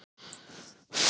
Bríet: Bara gaman.